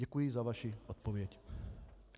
Děkuji za vaši odpověď.